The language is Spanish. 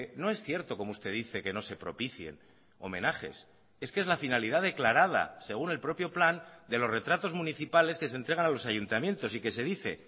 no es cierto como usted dice que no se propicien homenajes es que es la finalidad declarada según el propio plan de los retratos municipales que se entregan a los ayuntamientos y que se dice